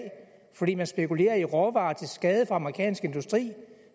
fordi man spekulerer i råvarer til skade for amerikansk industri